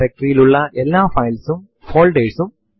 terminal ലിൽ date എന്ന് type ചെയ്തു എന്റർ അമർത്തുക